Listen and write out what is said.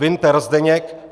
Winter Zdeněk